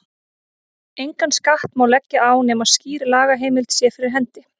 Engan skatt má leggja á nema skýr lagaheimild sé fyrir hendi.